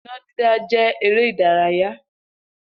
Iná dídá jẹ́ eré ìdárayá